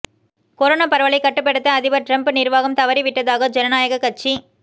corona பரவலைக் கட்டுப்படுத்த அதிபர் டிரம்ப் நிர்வாகம் தவறிவிட்டதாக ஜனநாயக கட்சி